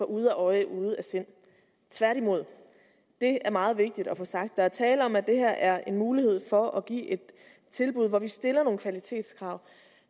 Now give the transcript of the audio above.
ude af øje ude af sind tværtimod det er meget vigtigt at få sagt der er tale om at det her er en mulighed for at give et tilbud hvor vi stiller nogle kvalitetskrav